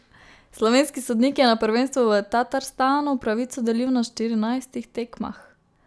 Slovenski sodnik je na prvenstvu v Tatarstanu pravico delil na štirinajstih tekmah.